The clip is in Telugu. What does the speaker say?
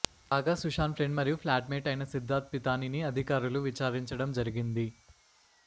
కాగా సుశాంత్ ఫ్రెండ్ మరియు ఫ్లాట్ మేట్ అయిన సిద్దార్థ్ పితానిని అధికారులు విచారించడం జరిగింది